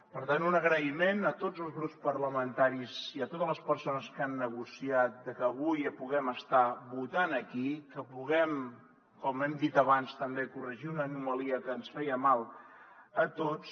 per tant un agraïment a tots els grups parlamentaris i a totes les persones que han negociat que avui puguem estar votant aquí que puguem com hem dit abans també corregir una anomalia que ens feia mal a tots